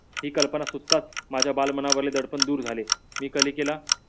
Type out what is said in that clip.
ही कल्पना सुचताच माझ्या बाळमनावरील दडपण दूर झाले. मी कालिकेला